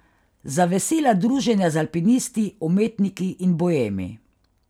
Za vesela druženja z alpinisti, umetniki in boemi.